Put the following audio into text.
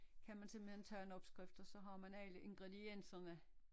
Kan man simpelthen tage en opskrift og så har man alle ingredienserne